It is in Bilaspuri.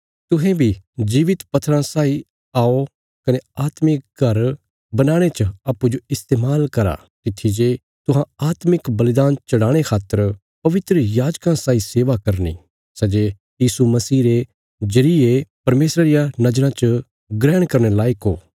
तुहें बी जीवित पत्थराँ साई आओ कने आत्मिक घर बनाणे च अप्पूँजो इस्तेमाल करा तित्थी जे तुहां आत्मिक बलिदान चढ़ाणे खातर पवित्र याजकां साई सेवा करनी सै जे यीशु मसीह रे जरिये परमेशरा रिया नज़राँ च ग्रहण करने लायक हो